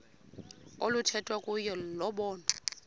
oluthethwa kuyo lobonwa